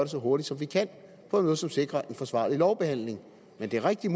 så hurtigt som vi kan på en måde som sikrer en forsvarlig lovbehandling men det er rigtigt